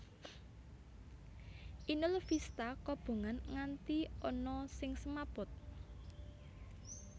Inul Vista kobongan nganti ana sing semaput